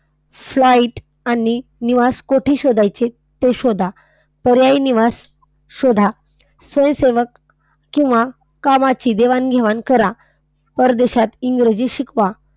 Flight आणि निवास कोठे शोधायचे ते शोधा. पर्यायी निवास शोधा. स्वयंसेवक किंवा कामाची देवाणघेवाण करा. परदेशात इंग्रजी शिकवा.